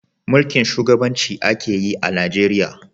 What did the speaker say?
Mulkin shugabanci a ke yi a Najeriya